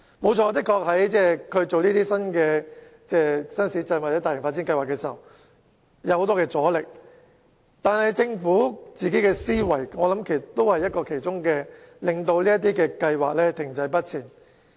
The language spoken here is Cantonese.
無可否認，政府在興建新市鎮或進行大型發展計劃時確實遇到很多阻力，但政府本身的思維也是導致這些計劃停滯不前的原因之一。